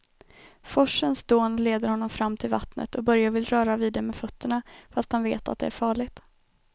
Forsens dån leder honom fram till vattnet och Börje vill röra vid det med fötterna, fast han vet att det är farligt.